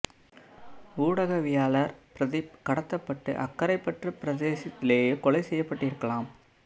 ஊடகவியலாளர் பிரதீப் கடத்தப்பட்டு அக்கரைபற்று பிரதேசத்திலேயே கொலை செய்யப்பட்டிருக்கலாம்